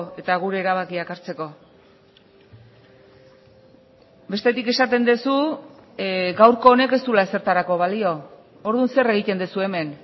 eta gure erabakiak hartzeko bestetik esaten duzu gaurko honek ez duela ezertarako balio orduan zer egiten duzu hemen